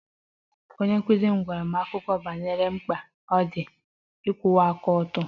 Onye nkụzi m gwara anyị akụkọ banyere mkpa ọ dị ịkwụwa aka ọtọ